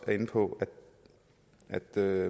er inde på at der